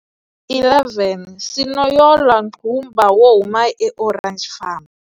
11 Sinoyolo Qumba wo huma eOrange Farm.